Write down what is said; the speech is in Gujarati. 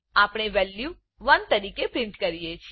આપણે વેલ્યુ 1 તરીકે પ્રિન્ટ કરીએ છે